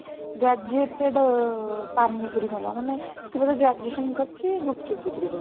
graduated ମାନେ ସେ ବୋଧେ graduation କରିଛି ଗୁପଚୁପ ବିକ୍ରି କରୁଛି